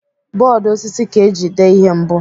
Bọọdụ osisi ka eji dee ihe mbụ.